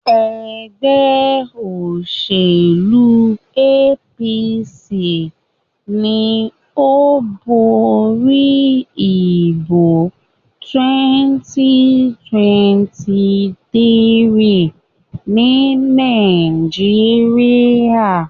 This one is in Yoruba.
ègbé òṣèlú APC ní o bóri ìbò 2023 ní Nàìjíríà.